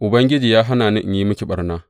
Ubangiji, ya hana ni in yi miki ɓarna.